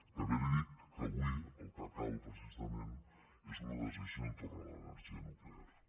també li dic que avui el que cal precisament és una decisió entorn a l’energia nuclear